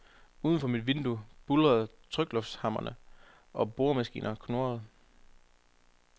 Uden for mit vindue buldrer tryklufthammere og boremaskiner knurrer.